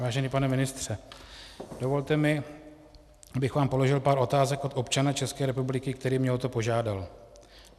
Vážený pane ministře, dovolte mi, abych vám položil pár otázek od občana České republiky, který mě o to požádal.